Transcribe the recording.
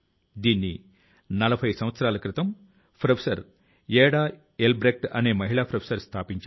సహచరులారా కొంతమంది యువకులు ప్రారంభించిన సాఫ్ వాటర్ సాఫ్వాటర్ అనే స్టార్ట్ అప్ ను గురించి నాకు తెలిసింది